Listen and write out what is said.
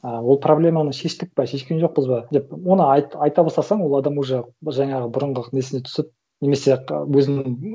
ы ол проблеманы шештік па шешкен жоқпыз ба деп оны айта бастасаң ол адам уже жаңағы бұрынғы несіне түсіп немесе өзінің